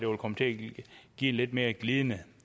vil komme til at give en lidt mere glidende